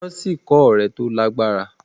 wón sí kò òré tó lágbára